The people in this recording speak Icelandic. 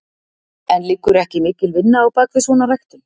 En liggur ekki mikil vinna á bakvið svona ræktun?